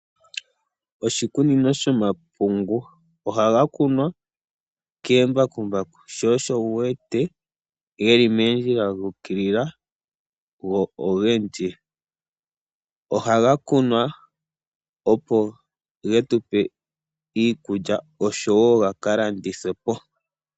Oshikunino shomapungu. Ohaga kunwa kembakumbaku sho osho wu wete ge li moondjila dha ukilila, go ogendji. Ohaga kunwa opo ge tupe iikulya oshowo ga ka landithwe po.